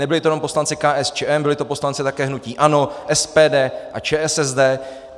Nebyli to jenom poslanci KSČM, byli to poslanci také hnutí ANO, SPD a ČSSD.